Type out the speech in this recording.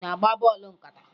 Ị na-agba bọọlụ nkata?